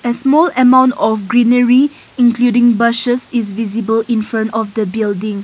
small amount of greenery including bushes are visible in front of the building.